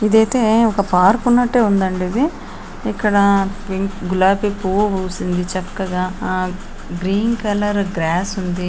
ఇదైతే ఒక పార్క్ ఉన్నట్టే ఉందండి .ఇది ఇక్కడ గులాబీ పువ్వు పూసింది. చక్కగా ఆ గ్రీన్ కలర్ గ్రస్స్ ఉంది.